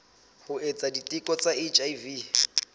ho etsa diteko tsa hiv